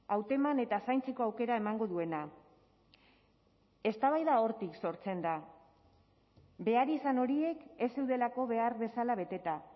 hauteman eta zaintzeko aukera emango duena eztabaida hortik sortzen da beharrizan horiek ez zeudelako behar bezala beteta